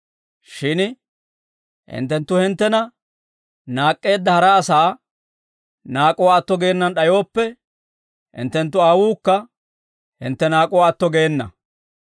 «Shin hinttenttu hinttena naak'k'eedda hara asaa naak'uwaa atto gaana d'ayooppe, hinttenttu Aawuukka hintte naak'uwaa atto geena.